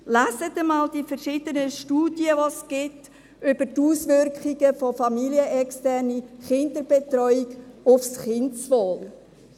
Lesen Sie einmal die verschiedenen Studien, die es über die Auswirkungen von familienexterner Kinderbetreuung auf das Kindeswohl gibt.